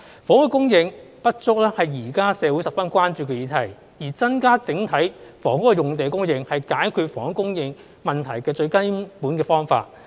房屋的供應不足是現在社會十分關注的議題，而增加整體房屋用地的供應是解決房屋供應問題的最根本的方法。